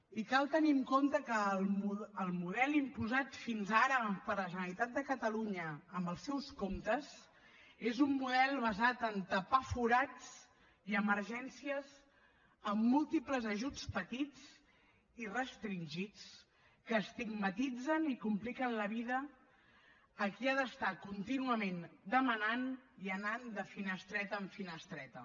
i cal tenir en compte que el model imposat fins ara per la generalitat de catalunya amb els seus comptes és un model basat a tapar forats i emergències amb múltiples ajuts petits i restringits que estigmatitzen i compliquen la vida a qui ha d’estar contínuament demanant i anant de finestreta en finestreta